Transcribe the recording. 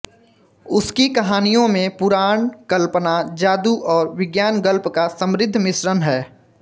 उसकी कहानियों में पुराण कल्पना जादू और विज्ञान गल्प का समृद्ध मिश्रण है